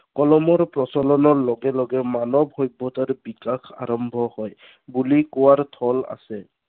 কলমৰ প্ৰচলনৰ লগে লগে মানৱ সভ্য়তাৰ বিকাশ আৰম্ভ হয়, বুলি কোৱাৰ থল আছে।